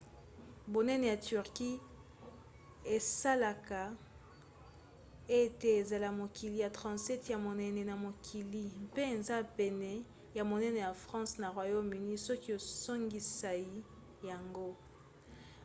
bonene ya turquie esalaka ete ezala mokili ya 37 ya monene na mokili; mpe eza pene ya monene ya france na royaume-uni soki osangisai yango